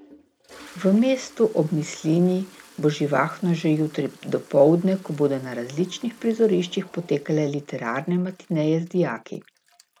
V mestu ob Mislinji bo živahno že jutri dopoldne, ko bodo na različnih prizoriščih potekale literarne matineje z dijaki.